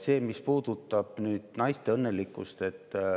Sellest, mis puudutab naiste õnnelikkust.